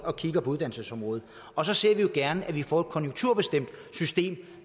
på uddannelsesområdet og så ser vi jo gerne at vi får et konjunkturbestemt system